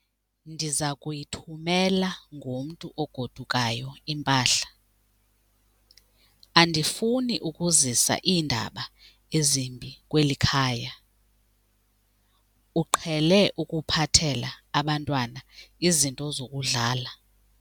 Ndiza kuyithumela ngomntu ogodukayo impahla. Andifuni ukuzisa iindaba ezimbi kweli khaya, uqhele ukuphathela abantwana izinto zokudlala.